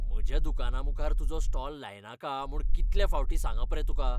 म्हज्या दुकानामुखार तुजो स्टॉल लायनाका म्हूण कितलें फावटीं सांगप रे तुका?